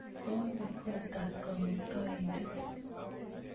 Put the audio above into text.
kobe kotaab kamuktaindet?